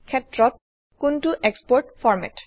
ক্ষেত্ৰত কোনটো এক্সপোৰ্ট ফৰ্মেট160